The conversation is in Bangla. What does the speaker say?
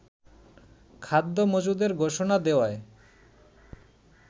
খাদ্য মজুদের ঘোষণা দেওয়ায়